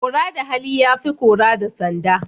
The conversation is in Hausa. Kora da hali ya fi kora da sanda.